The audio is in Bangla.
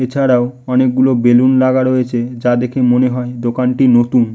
এছাড়াও অনেক গুলি বেলুন লাগা রয়েছে যা দেখে মনে হয় দোকানটি নতুন --